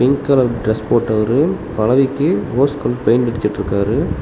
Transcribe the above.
Pink colour dress போட்டவரு பலகைக்கு rose colour paint அடிச்சுட்டிருக்காரு.